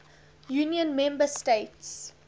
union member states